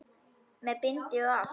Með bindi og allt!